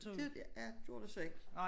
Ja gjorde det så ikke